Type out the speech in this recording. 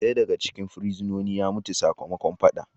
Daya daga cikin fursunonin ya mutu sakamakon fadan.